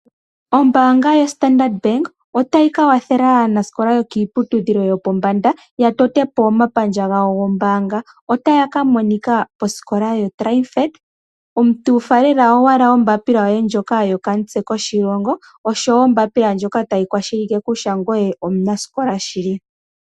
Ombaanga yoStandard Bank otayi ka gandja omakwatho kaanasikola yokiiputudhilo yopombanda gokutota po omapandja gawo gombaanga. Otaya ka monika kosikola yoTriumphant. Omuntu faalela owala ombapila yoye ndjoka yokamutse koshilongo nosho wo ombapila ndjoka tayi kwashilipaleke kutya ngoye omunasikola shili.